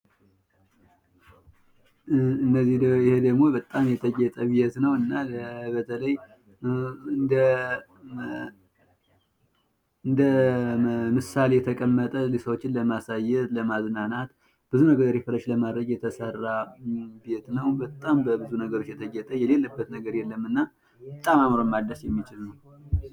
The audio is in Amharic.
ይህ ደግሞ በጣም የተጌጠ ቤት ነው። ለማሳያነት የተቀመጠ በጣም ደስ የሚል ቤት ነው። ያልጠጌጠበት ነገር የለም ።